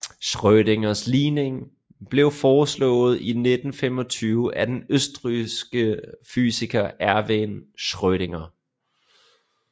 Schrödingers ligning blev foreslået i 1925 af den østrigske fysiker Erwin Schrödinger